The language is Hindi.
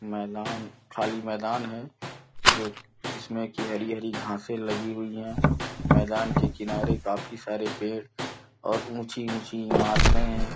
मैदान खाली मैदान है जो जिसमें की हरी-हरी घासें लगी हुई हैं। मैदान के किनारे काफी सारे पेड़ और ऊँची ऊँची इमारते हैं।